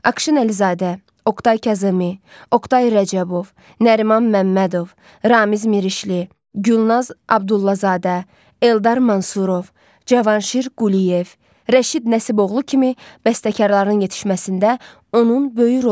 Akşin Əlizadə, Oqtay Kazımi, Oqtay Rəcəbov, Nəriman Məmmədov, Ramiz Mirişli, Gülnaz Abdullazadə, Eldar Mansurov, Cavanşir Quliyev, Rəşid Nəsiboğlu kimi bəstəkarların yetişməsində onun böyük rolu var.